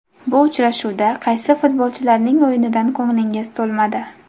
Bu uchrashuvda qaysi futbolchilarning o‘yinidan ko‘nglingiz to‘lmadi?